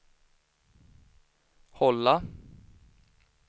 hålla